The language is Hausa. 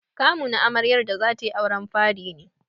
Kamu na amaryar da zatai auren fari ne.